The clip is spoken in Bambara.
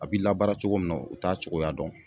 A bi labaara cogo min na u t'a cogoya dɔn.